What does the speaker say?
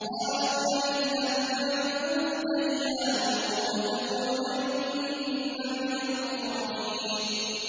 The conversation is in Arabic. قَالُوا لَئِن لَّمْ تَنتَهِ يَا لُوطُ لَتَكُونَنَّ مِنَ الْمُخْرَجِينَ